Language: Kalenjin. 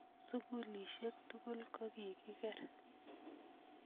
sukulisiek tugul ko kigeer